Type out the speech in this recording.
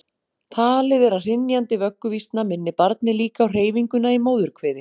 Talið er að hrynjandi vögguvísna minni barnið líka á hreyfinguna í móðurkviði.